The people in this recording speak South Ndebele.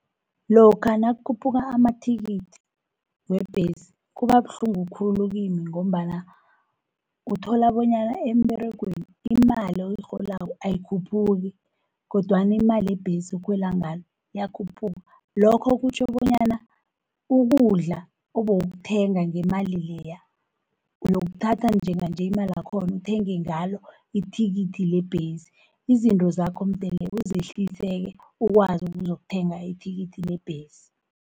Lokha nakhuphula amathikithi weembesi kuba buhlungu khulu kimi, ngombana uthola bonyana emberegweni imali oyirholako ayikhuphuki, kodwana imale ebhesi okhwela ngayo, iyakhuphuka lokho kutjho bonyana ukudla obowukuthenga ngemali leya, uyokuthatha njenganje imalakhona uthenge ngalo ithikithi lebhesi. Izinto zakho mdele uzehlisele-ke, ukwazi ukuzukuthenga ithikithi lebhesi.